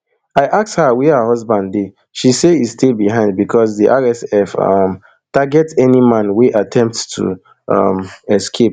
i ask her wia her husband dey she say e stay behind becos di rsf um target any man wey attempt to um escape